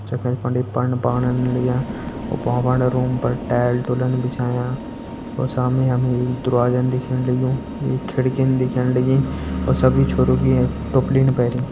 जख पंडित पण पाण लग्यां रूम पर टाइल -टूलन बिछायां और सामने हमे एक दरवाजा दिखेण लग्युं एक खिड़की दिखेण लगीं और सब ईं छोरु की टोपली पैरी।